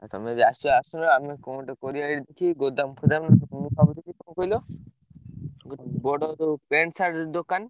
ଆଉ ତମେ ଯଦି ଆସିବ ଆସୁନ ଆମେ କଣ ଗୋଟେ କରିବା ଦେଖି ଗୋଦାମ ଫୋଦାମ ମୁଁ ଭାବୁଥିଲି କଣ କହିଲ ବଡ ଯୋଉ pant, shirt ଦୋକାନ।